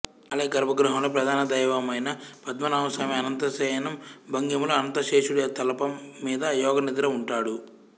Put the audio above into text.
ఆలయ గర్భగృహంలో ప్రధాన దైవమైన పద్మనాభస్వామి అనంతశయనం భంగిమలో అనంతశేషుడి తల్పం మీద యోగనిద్రఉంటాడు